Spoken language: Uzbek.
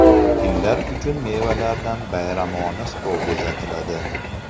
Fillar uchun mevalardan bayramona stol bezatiladi.